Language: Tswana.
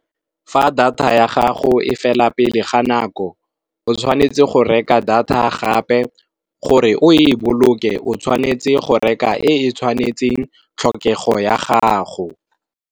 Fa data ya gago e fela pele ga nako, o tshwanetse go reka data gape, gore o e boloke o tshwanetse go reka e tshwanetseng tlhokego ya gago.